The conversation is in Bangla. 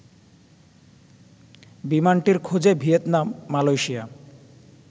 বিমানটির খোঁজে ভিয়েতনাম, মালয়েশিয়া